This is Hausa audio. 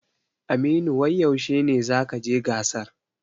Aminu wai yaushe ne zakaje gasar?